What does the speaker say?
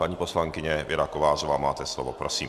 Paní poslankyně Věra Kovářová, máte slovo, prosím.